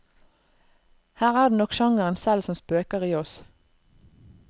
Her er det nok sjangeren selv som spøker i oss.